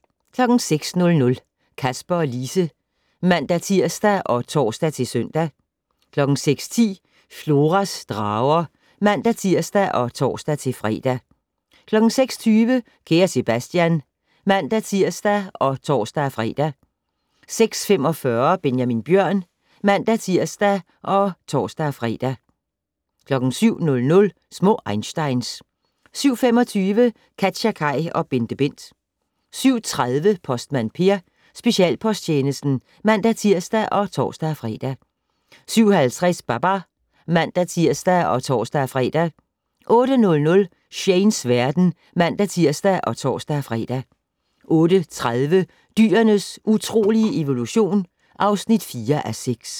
06:00: Kasper og Lise (man-tir og tor-søn) 06:10: Floras drager (man-tir og tor-fre) 06:20: Kære Sebastian (man-tir og tor-fre) 06:45: Benjamin Bjørn (man-tir og tor-fre) 07:00: Små einsteins 07:25: KatjaKaj og BenteBent 07:30: Postmand Per: Specialposttjenesten (man-tir og tor-fre) 07:50: Babar (man-tir og tor-fre) 08:00: Shanes verden (man-tir og tor-fre) 08:30: Dyrenes utrolige evolution (4:6)